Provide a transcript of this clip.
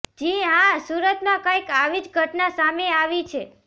જીહા સુરતમાં કંઇક આવી જ ઘટના સામે આવી છે